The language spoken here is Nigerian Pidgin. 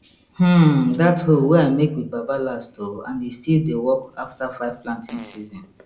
hmm that hoe wey i make wit baba last oh and e still dey work after 5 planting season